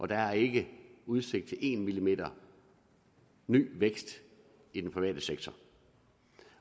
der er ikke udsigt til en millimeter ny vækst i den private sektor